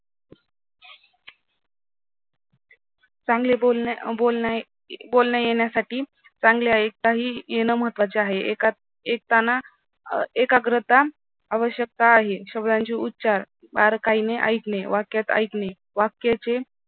चांगले बोलणे अं बोलणे बोलण्या येण्यासाठी चांगल्या ऐकताही येणं महत्त्वाचं आहे. ऐकताना एकाग्रता आवश्यकता आहे शब्दांचे उच्चार बारकाईने ऐकणे वाक्यात ऐकणे वाक्याची